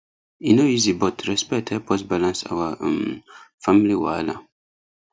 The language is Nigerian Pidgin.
e no easy but respect help us balance our um family wahala